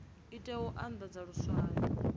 i tea u andadza luswayo